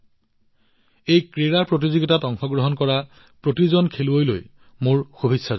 এই ক্ৰীড়া প্ৰতিযোগিতাত অংশগ্ৰহণ কৰা প্ৰতিজন খেলুৱৈলৈ মোৰ শুভেচ্ছা থাকিল